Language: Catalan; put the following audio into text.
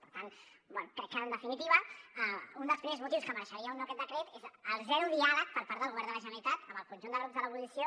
per tant crec que en definitiva un dels primers motius que mereixeria aquest nou decret és el zero diàleg per part del govern de la generalitat amb el conjunt de grups de l’oposició